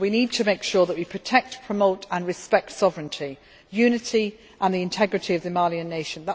So we need to make sure that we protect, promote and respect sovereignty, unity and the integrity of the Malian nation.